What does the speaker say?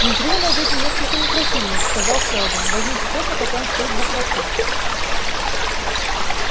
внутри вы найдёте несколько микрофильмов сказал сэлдон возьмите тот на котором стоит буква т